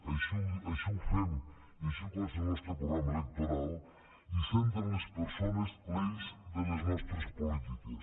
així ho fem i així consta al nostre programa electoral i centra en les persones l’eix de les nostres polítiques